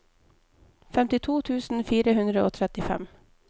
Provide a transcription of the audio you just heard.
femtito tusen fire hundre og trettifem